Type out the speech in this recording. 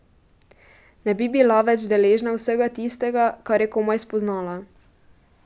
Ne bi bila več deležna vsega tistega, kar je komaj spoznala.